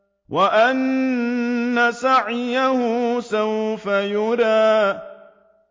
وَأَنَّ سَعْيَهُ سَوْفَ يُرَىٰ